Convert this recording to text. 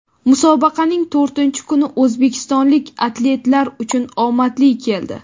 Musobaqaning to‘rtinchi kuni o‘zbekistonlik atletlar uchun omadli keldi.